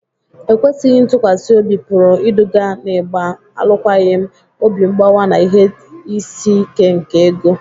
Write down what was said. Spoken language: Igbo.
Ekwesịghi ntụkwasị obi pụrụ iduga n'ịgba alụkwaghịm, obi mgbawa, na ihe isi ike nke ego.